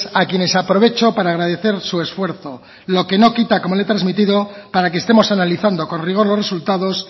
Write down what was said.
a quienes aprovecho para agradecer su esfuerzo lo que no quita como le he transmitido para que estemos analizando con rigor los resultados